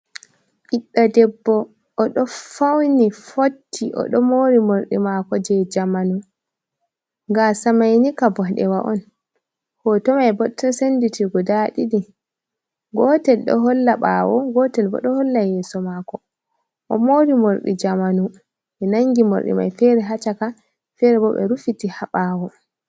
Ɓiɗdo Debbo: Oɗo fauni fotti oɗo mori morɗi mako je jamanu. Gasa maini ka ɓoɗewa on. hoto mai bo to senditiri guda ɗiɗi; gotel ɗo holla ɓawo, gotel bo ɗo holla yeso mako. O'mori morɗi jamanu. Ɓe nangi morɗi mai fere ha caka, fere bo ɓe rufiti ha ɓawo.